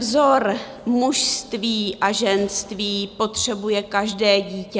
Vzor mužství a ženství potřebuje každé dítě.